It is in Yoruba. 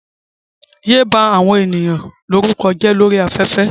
Yéé bá àwọn ènìyàn lórúkọ jẹ́ ní orí afẹ́fẹ́.